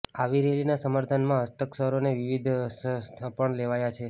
આવી રેલીના સમર્થનમાં હસ્તાક્ષરોનો વિવાદ હસ્તાક્ષર પણ લેવાયા છે